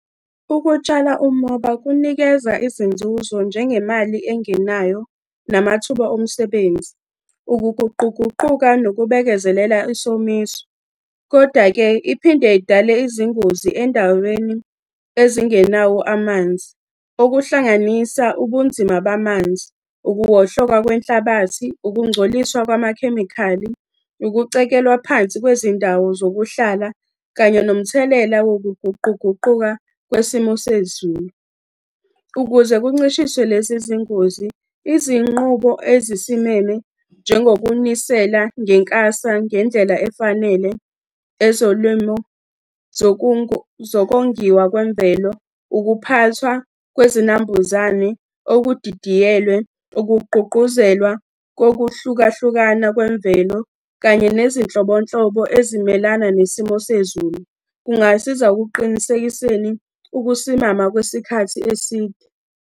Ukutshala umoba kunikeza izinzuzo njengemali engenayo namathuba omsebenzi, ukuguquguquka nokubekezelela isomiso. Kodwa-ke iphinde idale izingozi endaweni ezingenawo amanzi. Okuhlanganisa ubunzima bamanzi, ukuwohloka kwenhlabathi, ukungcoliswa kwamakhemikhali, ukucekelwa phansi kwezindawo zokuhlala kanye nomthelela wokuguquguquka kwesimo sezulu. Ukuze kuncishiswe lezi zingozi, izinqubo ezisimeme, njengokunisela ngekasa ngendlela efanele, ezolimo zokongiwa kwemvelo. Ukuphathwa kwezinambuzane okudidiyelwe, ukugqugquzelwa kokuhlukahlukana kwemvelo, kanye nezinhlobonhlobo ezimelana nesimo sezulu. Kungasiza ukuqinisekiseni ukusimama kwesikhathi eside.